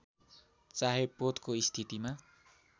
चाहे पोतको स्थितिमा